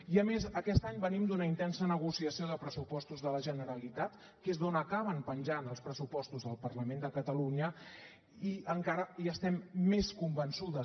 i a més aquest any venim d’una intensa negociació de pressupostos de la generalitat que és d’on acaben penjant els pressupostos del parlament de catalunya i encara hi estem més convençudes